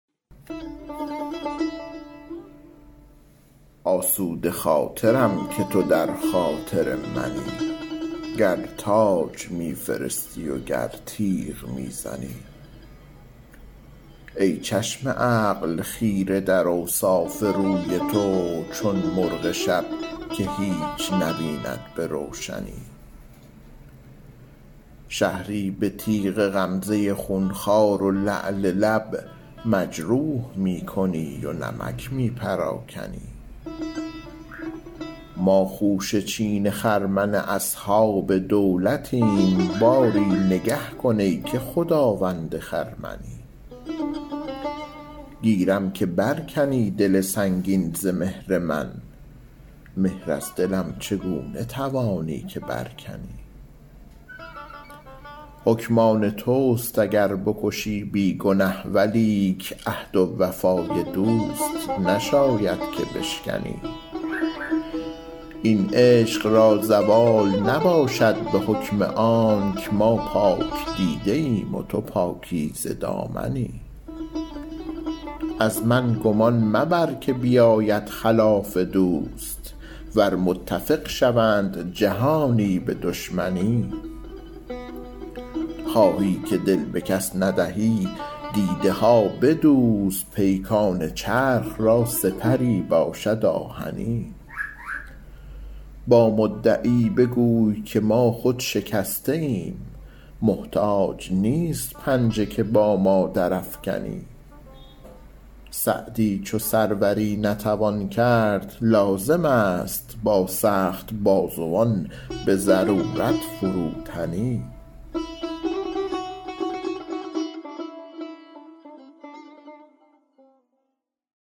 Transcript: آسوده خاطرم که تو در خاطر منی گر تاج می فرستی و گر تیغ می زنی ای چشم عقل خیره در اوصاف روی تو چون مرغ شب که هیچ نبیند به روشنی شهری به تیغ غمزه خونخوار و لعل لب مجروح می کنی و نمک می پراکنی ما خوشه چین خرمن اصحاب دولتیم باری نگه کن ای که خداوند خرمنی گیرم که بر کنی دل سنگین ز مهر من مهر از دلم چگونه توانی که بر کنی حکم آن توست اگر بکشی بی گنه ولیک عهد وفای دوست نشاید که بشکنی این عشق را زوال نباشد به حکم آنک ما پاک دیده ایم و تو پاکیزه دامنی از من گمان مبر که بیاید خلاف دوست ور متفق شوند جهانی به دشمنی خواهی که دل به کس ندهی دیده ها بدوز پیکان چرخ را سپری باشد آهنی با مدعی بگوی که ما خود شکسته ایم محتاج نیست پنجه که با ما درافکنی سعدی چو سروری نتوان کرد لازم است با سخت بازوان به ضرورت فروتنی